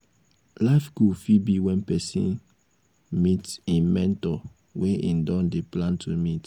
life goal fit be when person meet im mentor wey im don dey plan to meet